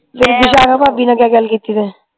ਵਿਸ਼ਾਖਾ ਭਾਭੀ ਨਾਲ ਕਿਆ ਗੱਲ ਕੀਤੀ ਫੇਰ